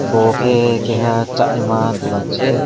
obo ke keha sanaima dogan se.